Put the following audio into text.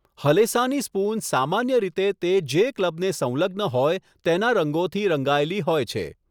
હલેસાંની spoon સામાન્ય રીતે તે જે ક્લબને સંલગ્ન હોય તેના રંગોથી રંગાયેલી હોય છે.